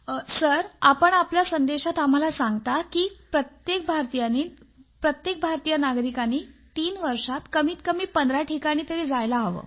sir आपण आपल्या संदेशात आम्हाला सांगितलं आहे कि प्रत्येक भारतीय नागरिकांनी तीन वर्षात कमीत कमी पंधरा ठिकाणी तरी जायलाच हवं